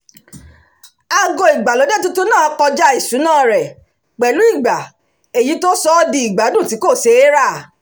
aago ìgbàlódé tuntun náà kọjá ìṣúná rẹ̀ pẹ̀lú igba èyí tó sọ ọ́ di ìgbádùn tí kò ṣe é rà